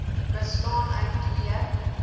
bestaan uit twee